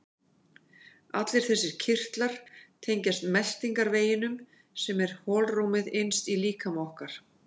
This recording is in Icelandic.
Allir þessir kirtlar tengjast meltingarveginum sem er holrúmið innst í líkama okkar.